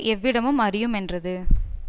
எவ்விடமும் அறியுமென்றது